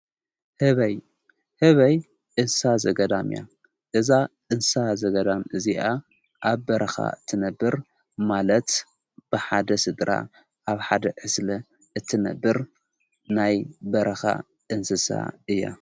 ህበይ እንስሳ ዘገዳም እያ እዛ እንሳ ዘገዳም እዚኣ ኣብ በረኻ እትነብር ማለት ብሓደ ሥድራ ኣብ ሓደ ዕስለ እትነብር ናይ በረኻ እንስሳ እያ::